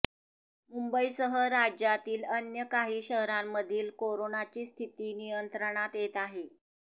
मुंबईसह राज्यातील अन्य काही शहरांमधील कोरोनाची स्थिती नियंत्रणात येत आहे